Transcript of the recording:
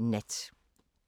DR K